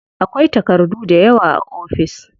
Akwai takardu dayawa a ofis.